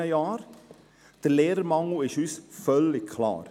Dass ein Lehrermangel besteht, ist uns völlig klar.